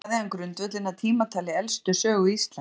Þannig lagði hann grundvöllinn að tímatali elstu sögu Íslands.